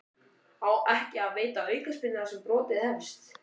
Á ekki að veita aukaspyrnu þar sem brotið hefst?